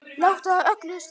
Láta af öllu slaðri.